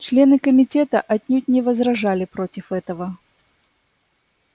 члены комитета отнюдь не возражали против этого